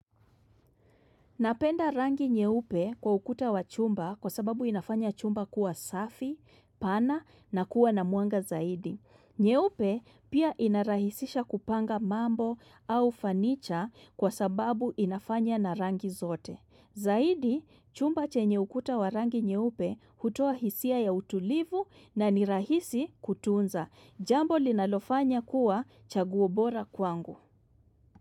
Napenda rangi nyeupe kwa ukuta wa chumba kwa sababu inafanya chumba kuwa safi, pana na kuwa na mwanga zaidi. Nye upe pia inarahisisha kupanga mambo au fanicha kwa sababu inafanya na rangi zote. Zaidi, chumba chenye ukuta wa rangi nyeupe hutoa hisia ya utulivu na ni rahisi kutunza. Jambo linalofanya kuwa chaguo bora kwangu.